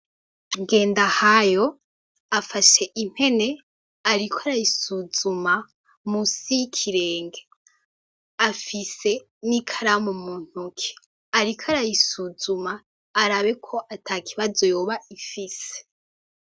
Ngendahayo afashe impene, ariko arayisuzuma musi y'ikirenge afise n'ikaramu muntoke, ariko arayisuzuma arabeko ata kibazo yoba ifise.